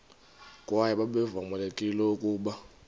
kwaye babevamelekile ukuba